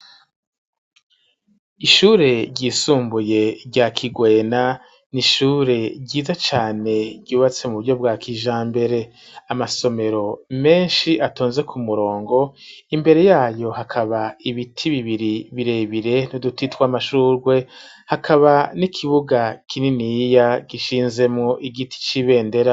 Ishure ryisumbuye rya Kigwena n'ishure ryiza cane ryubatse mu buryo bwakijambere amasomero meshi atonze ku murongo imbere yayo hakaba ibiti bibiri birebire n'uduti twamashurwe hakaba n'ikibuga kininiya gishinzemwo igiti c'ibendera